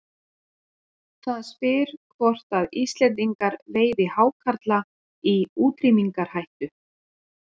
Það spyr hvort að Íslendingar veiði hákarla í útrýmingarhættu.